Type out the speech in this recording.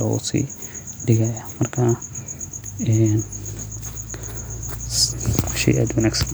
losigadaya.